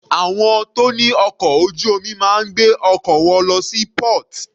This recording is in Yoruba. Àwọn tó ní ọkọ̀ ojú omi máa ń gbé ọkọ̀ wọn lọ sí port.